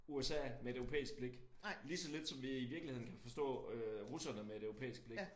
USA med et europæisk blik lige så lidt som vi i virkeligheden kan forstå øh russerne med et europæisk blik